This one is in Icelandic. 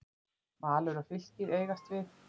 Valur og Fylkir eigast við.